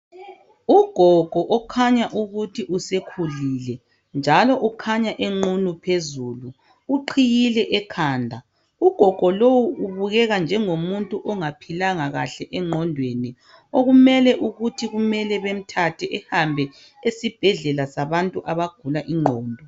Ugogo okhanya ukuthi usekhulile njalo ukhanya enqunu phezulu uqhiyile ekhanda ugogo lowu ubukeka njengo muntu ongaphilanga kahle engqondweni okumele ukuthi kumele bemthathe ehambe esibhedlela sabantu abagula ingqondo.